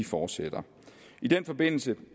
fortsætter i den forbindelse